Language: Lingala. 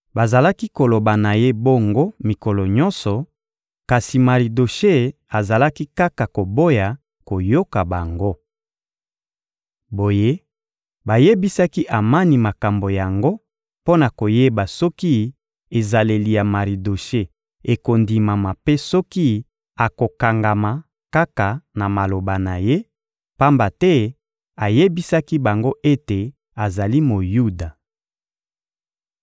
Bazalaki koloba na ye bongo mikolo nyonso, kasi Maridoshe azalaki kaka koboya koyoka bango. Boye, bayebisaki Amani makambo yango mpo na koyeba soki ezaleli ya Maridoshe ekondimama mpe soki akokangama kaka na maloba na ye, pamba te ayebisaki bango ete azali Moyuda.